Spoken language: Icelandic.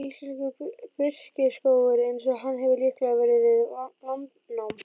Íslenskur birkiskógur eins og hann hefur líklega verið við landnám.